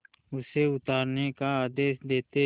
उसे उतारने का आदेश देते